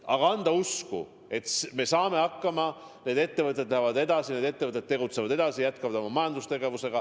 Vaja on anda usku, et nad saavad hakkama, et need ettevõtted lähevad edasi, tegutsevad edasi, jätkavad oma majandustegevust.